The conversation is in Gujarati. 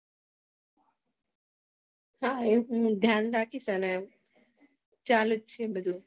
હા એનું ધ્યાન રાખીશ હવે ચાલુજ છે બધું